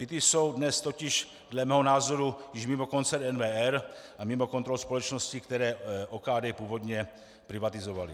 Byty jsou dnes totiž dle mého názoru již mimo koncert NWR a mimo kontrolu společností, které OKD původně privatizovaly.